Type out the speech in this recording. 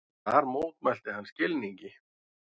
Þar mótmælti hann skilningi